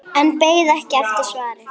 En beið ekki eftir svari.